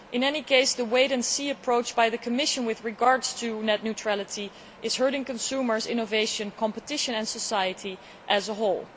In any case, the wait and see approach of the Commission with regard to net neutrality is hurting consumers, innovation, competition and society as a whole.